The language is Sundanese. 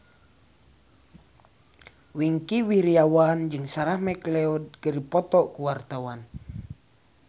Wingky Wiryawan jeung Sarah McLeod keur dipoto ku wartawan